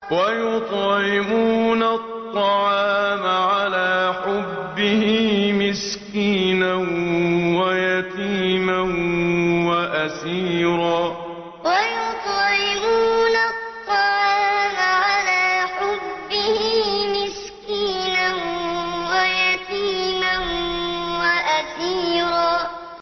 وَيُطْعِمُونَ الطَّعَامَ عَلَىٰ حُبِّهِ مِسْكِينًا وَيَتِيمًا وَأَسِيرًا وَيُطْعِمُونَ الطَّعَامَ عَلَىٰ حُبِّهِ مِسْكِينًا وَيَتِيمًا وَأَسِيرًا